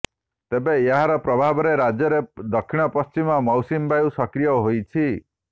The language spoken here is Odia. ତେବେ ଏହାର ପ୍ରଭାବରେ ରାଜ୍ୟରେ ଦକ୍ଷିଣ ପଶ୍ଚିମ ମୌସୁମୀ ବାୟୁ ସକ୍ରିୟ ହୋଇଛି